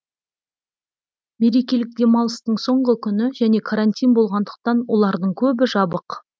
мерекелік демалыстың соңғы күні және карантин болғандықтан олардың көбі жабық